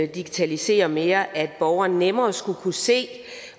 digitalisere mere at borgeren nemmere skulle kunne se